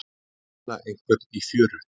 Að finna einhvern í fjöru